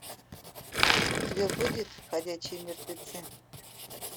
у тебя будет ходячие мертвецы